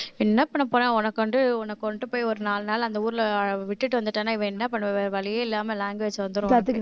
என்ன பண்ணப் போறேன் உனக்கு வந்து உன்னை கொண்டு போய் ஒரு நாலு நாள் அந்த ஊர்ல விட்டுட்டு வந்துட்டான்னா இப்ப என்ன பண்ணுவ வழியே இல்லாம language வந்துரும்